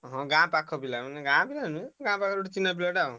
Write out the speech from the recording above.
ହଁ ଗାଁ ପାଖ ପିଲା ମାନେ ଗାଁ ପିଲା ନୁହେଁ। ଗାଁ ପାଖରେ ଗୋଟେ ଚିହ୍ନା ପିଲାଟେ ଆଉ।